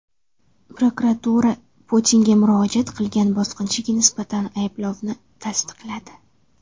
Prokuratura Putinga murojaat qilgan bosqinchiga nisbatan ayblovni tasdiqladi.